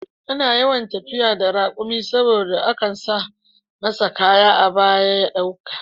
Ana yawan tafiya da raƙumi saboda akan saka masa kaya a baya ya ɗauka